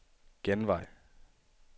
genvej